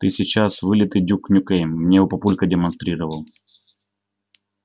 ты сейчас вылитый дюк нюкем мне его папулька демонстрировал